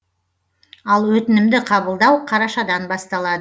ал өтінімді қабылдау қарашадан басталады